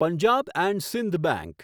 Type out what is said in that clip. Punjab and Sindh bank